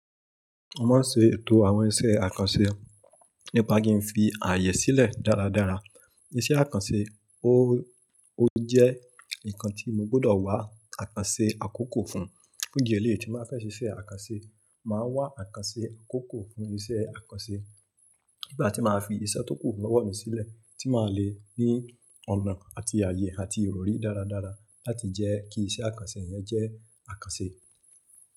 Mo máa ń ṣe ètò àwọn iṣẹ́ àkànṣe nípa kí n fi ààyè sílẹ̀ dáradára. Iṣẹ́ àkànṣe, ó jẹ́ nǹkan tí mo gbọdọ̀ wá àkánṣe àkókò fún. Fun idí ẹleyi tí ba fẹ́ ṣe iṣẹ́ àkánṣe, màá wá àkánṣe kókò fún iṣẹ́ àkánṣe. Nigba ti máa fi iṣẹ́ tó kù lọ́wọ́ mi sílẹ̀, ti máa lè ní ọ̀nà àti ààyè àti ìròrí dáradára láti jẹ́ kí iṣẹ́ àkánṣe yẹn jẹ́ àkánṣe.